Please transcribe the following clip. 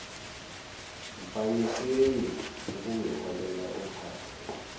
mfaniseni ukungiholela ophathe